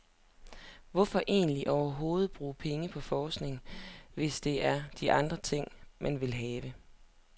Hvorfor egentlig overhovedet bruge pengene på forskning, hvis det er de andre ting, man vil have.